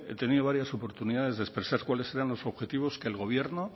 tenido varias oportunidades de expresar cuáles eran los objetivos que el gobierno